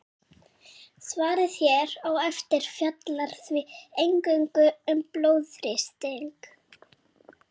Svarið hér á eftir fjallar því eingöngu um blóðþrýsting.